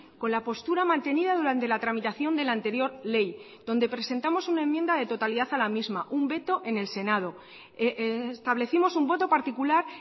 con la postura mantenida durante la tramitación de la anterior ley donde presentamos una enmienda de totalidad a la misma un veto en el senado establecimos un voto particular